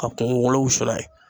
A kumukolo wusu n'a ye